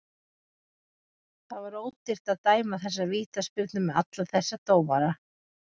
Það var ódýrt að dæma þessa vítaspyrnu með alla þessa dómara.